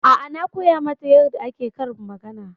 A'a na koya mata yarda ake karin magana.